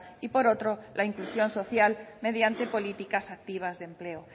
y por otro la inclusión social mediante políticas activas de empleo